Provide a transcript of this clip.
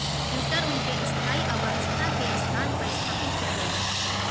router उनके स्थायी अव्यवस्था के स्थान पर स्थापित किया गया है